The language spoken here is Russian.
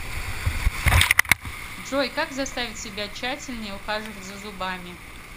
джой как заставить себя тщательнее ухаживать за зубами